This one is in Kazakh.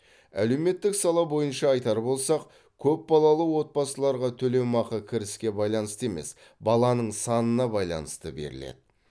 әлеуметтік сала бойынша айтар болсақ көпбалалы отбасыларға төлемақы кіріске байланысты емес баланың санына байланысты беріледі